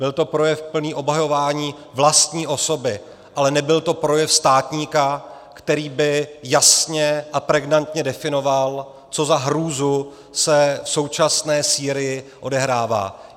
Byl to projev plný obhajování vlastní osoby, ale nebyl to projev státníka, který by jasně a pregnantně definoval, co za hrůzu se v současné Sýrii odehrává.